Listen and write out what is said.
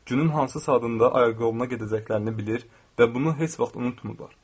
Günün hansı saatında ayaqyoluna gedəcəklərini bilir və bunu heç vaxt unutmurlar.